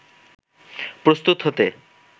প্রস্তুত হতে